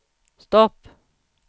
stopp